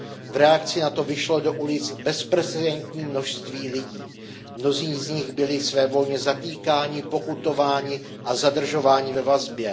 V reakci na to vyšlo do ulic bezprecedentní množství lidí, mnozí z nich byli svévolně zatýkáni, pokutováni a zadržováni ve vazbě.